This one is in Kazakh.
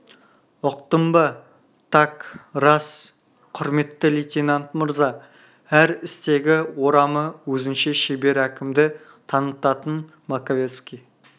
ұқтың ба так рас құрметті лейтенант мырза әр істегі орамы өзінше шебер әкімді танытатын маковецкий